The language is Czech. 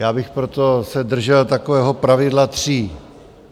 Já bych se proto držel takového pravidla tří.